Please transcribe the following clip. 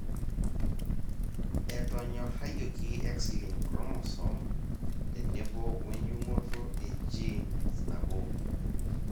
etonyorayioki X linked chromosome tenebo we jung'oto e genes nabo.